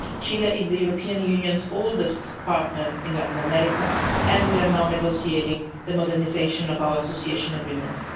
Chile is the European Union's oldest partner in Latin America and we are now negotiating the modernisation of our Association Agreements.